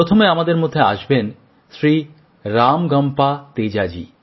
প্রথমে আমাদের মধ্যে আসবেন শ্রী রামগম্পা তেজাজী